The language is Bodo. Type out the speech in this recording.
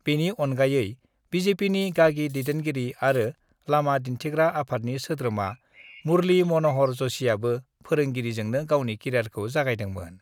बेनि अनगायै बिजेपिनि गागि दैदेनगिरि आरो लामा दिन्थिग्रा आफादनि सोद्रोमा मुर्लि मनहर जषिआबो फोरोंगिरिजोंनो गावनि केरियारखौ जागायदोंमोन।